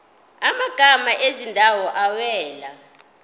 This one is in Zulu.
amagama ezindawo awela